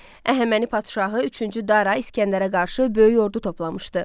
Əhəməni padşahı üçüncü Dara İsgəndərə qarşı böyük ordu toplamışdı.